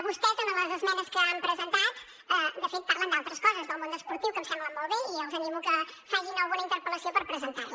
vostès en les esmenes que han presentat de fet parlen d’altres coses del món esportiu que em semblen molt bé i els animo que facin alguna interpel·lació per presentar les